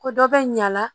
Ko dɔ bɛ ɲa a la